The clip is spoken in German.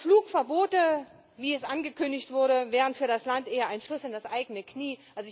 Flugverbote, wie sie angekündigt wurden, wären für das Land eher ein Schuss in das eigene Knie.